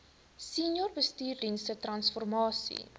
senior bestuursdienste transformasie